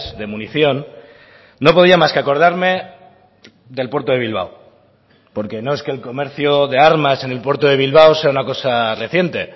de munición no podía más que acordarme del puerto de bilbao porque no es que el comercio de armas en el puerto de bilbao sea una cosa reciente